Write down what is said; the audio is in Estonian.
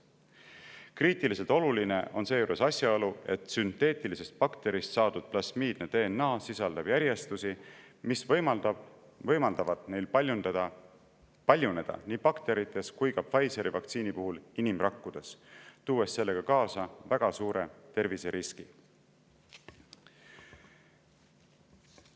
Seejuures on kriitiliselt oluline asjaolu, et sünteetilistest bakteritest saadud plasmiidne DNA sisaldab järjestusi, mis võimaldavad neil paljuneda nii bakterites kui ka Pfizeri vaktsiini puhul inimrakkudes, tuues sellega kaasa väga suure terviseriski.